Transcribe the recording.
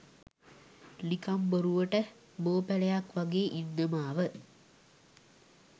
නිකං බොරුවට බෝපැලයක් වගේ ඉන්න මාව